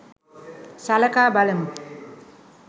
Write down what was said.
සලකා බලමු